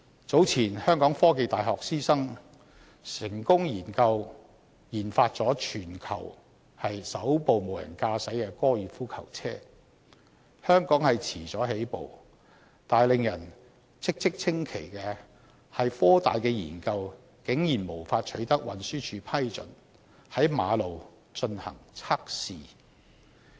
早前香港科技大學師生成功研發全球首部無人駕駛高爾夫球車，香港遲了起步，但令人嘖嘖稱奇的是，科大的研究竟然無法取得運輸署批准在公路進行測試。